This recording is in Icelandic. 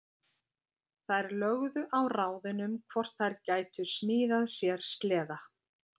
Þær lögðu á ráðin um hvort þær gætu smíðað sér sleða.